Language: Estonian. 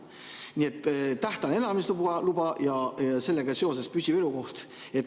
Nii et tähtajaline elamisluba ja sellega seoses püsiv elukoht.